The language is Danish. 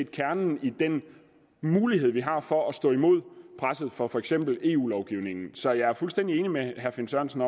kernen i den mulighed vi har for at stå imod presset fra for eksempel eu lovgivningen så jeg er fuldstændig enig med herre finn sørensen